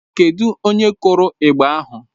Kedụ onye kụrụ igba ahụ?